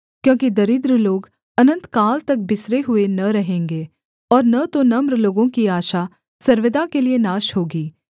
क्योंकि दरिद्र लोग अनन्तकाल तक बिसरे हुए न रहेंगे और न तो नम्र लोगों की आशा सर्वदा के लिये नाश होगी